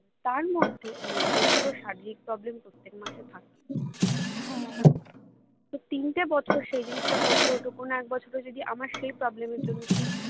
তার মধ্যে মেয়েদের তো শারীরিক problem প্রত্যেক মাসে থেকেই তো তিনটে বছর সেই জিনিসটা করতে হতো কোনো একবছরে যদি আমার সেই problem এর জন্য সেই